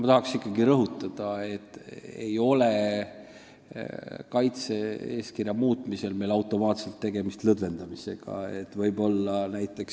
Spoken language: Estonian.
Ma tahan ikkagi rõhutada, et kaitse-eeskirja muutmisel ei ole meil automaatselt tegemist režiimi lõdvendamisega.